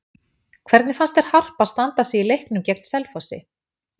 Hvernig fannst þér Harpa standa sig í leiknum gegn Selfossi?